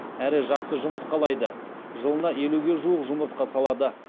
әрі жақсы жұмыртқалайды жылына елуге жуық жұмыртқа салады